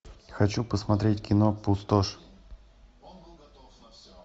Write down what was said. хочу посмотреть кино пустошь